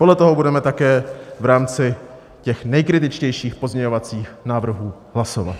Podle toho budeme také v rámci těch nejkritičtějších pozměňovacích návrhů hlasovat.